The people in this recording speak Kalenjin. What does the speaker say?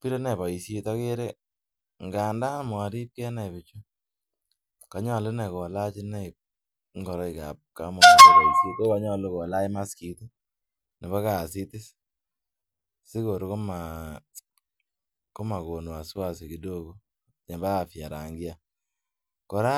birenai boishet ndandan moripkei inai bichu ngolu nani kolach ngoroik kab ko konyolu kolach maskit nebo kasitasigopin komogom kasit kora kidogo nebo rangia kora